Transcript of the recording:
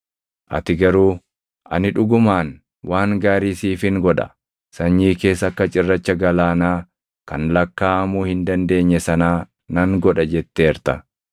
Ati garuu, ‘Ani dhugumaan waan gaarii siifin godha; sanyii kees akka cirracha galaanaa kan lakkaaʼamuu hin dandeenye sanaa nan godha’ jetteerta.”